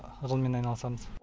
ғылыммен айналысамыз